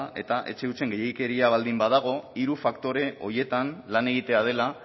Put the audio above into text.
eta etxe hutsen gehiegikeria baldin badago hiru faktore horietan lan egitea dela